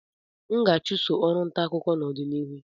M ga-achụso ọrụ ntaakụkọ n'ọdịnihu